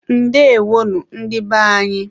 Ndeewonu, ndị be anyị.